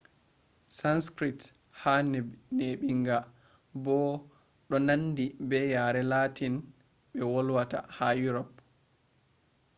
sanskrit yare neɓinga bo ɗo nandi be yare latin ɓe volwata ha europe